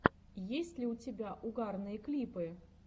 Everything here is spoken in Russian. есть ли у тебя угарные клипы